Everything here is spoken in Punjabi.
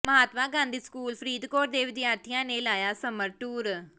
ਮਹਾਤਮਾ ਗਾਂਧੀ ਸਕੂਲ ਫ਼ਰੀਦਕੋਟ ਦੇ ਵਿਦਿਆਰਥੀਆਂ ਨੇ ਲਾਇਆ ਸਮਰ ਟੂਰ